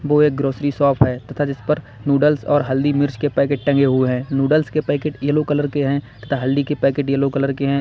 वो एक grocery shop है तथा जिस पर नूडल्स और हल्दी मिर्च के पैकेट टंगे हुए हैं नूडल्स के पैकेट येलो कलर के हैं तथा हल्दी के पैकेट येलो कलर के हैं।